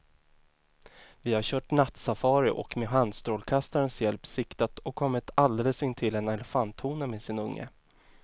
Vi har kört nattsafari och med handstrålkastarens hjälp siktat och kommit alldeles intill en elefanthona med sin unge.